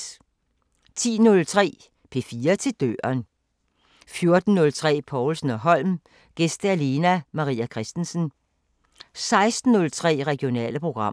10:03: P4 til døren 14:03: Povlsen & Holm: Gæst Lene Maria Christensen 16:03: Regionale programmer